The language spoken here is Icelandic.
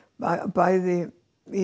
bæði í